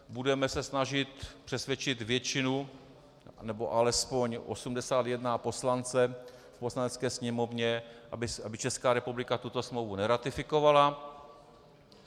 Budeme se snažit přesvědčit většinu, nebo alespoň 81 poslanců, v Poslanecké sněmovně, aby Česká republika tuto smlouvu neratifikovala.